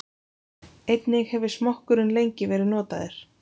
Einnig hefur smokkurinn lengi verið notaður.